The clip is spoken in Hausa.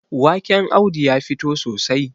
waken Audu ya fito sosai